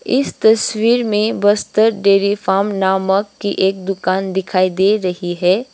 इस तस्वीर में बस्तर डेरी फार्म नामक की एक दुकान दिखाई दे रही है।